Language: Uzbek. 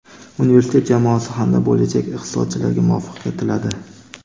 universitet jamoasi hamda bo‘lajak iqtisodchilarga muvaffaqiyat tiladi.